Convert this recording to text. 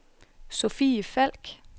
Sophie Falk